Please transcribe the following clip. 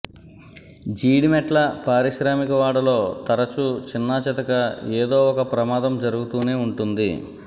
జీడిమెట్ల పారిశ్రామికవాడలో తరచు చిన్నాచితక ఏదో ఒక ప్రమాదం జరుగుతూనే ఉంటుంది